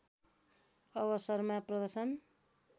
अवसरमा प्रदर्शन